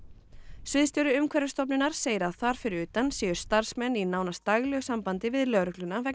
sviðstjóri Umhverfisstofnunar segir að þar fyrir utan séu starfsmenn í nánast daglegu sambandi við lögregluna vegna